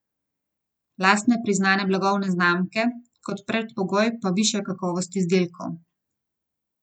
Lastne priznane blagovne znamke, kot predpogoj pa višja kakovost izdelkov.